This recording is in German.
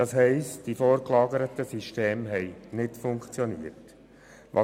Das heisst, die vorgelagerten Systeme haben versagt.